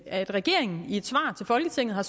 at regeringen i et svar til folketinget har